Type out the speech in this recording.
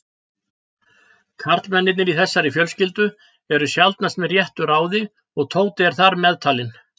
Karlmennirnir í þessari fjölskyldu eru sjaldnast með réttu ráði og Tóti er þar meðtalinn.